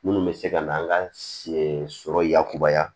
Minnu bɛ se ka na an ka sɔrɔ yakubaya